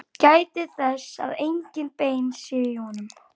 Gætið þess að engin bein séu í honum.